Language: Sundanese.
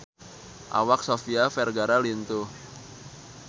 Awak Sofia Vergara lintuh